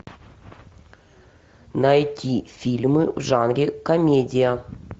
найти фильмы в жанре комедия